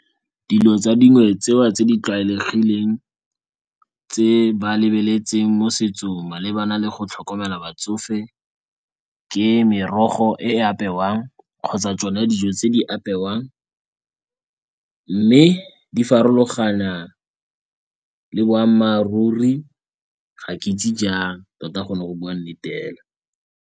Dilo tsa dingwe tseo tse di tlwaelegileng tse ba lebeletseng mo setsong malebana le go tlhokomela batsofe ke merogo e apewang kgotsa tsone dijo tse di apewang. Mme di farologana le boammaruri ga ke itse jang, tota gone go bua nnete fela.